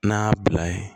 N'a bila ye